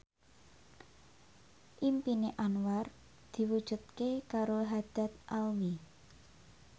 impine Anwar diwujudke karo Haddad Alwi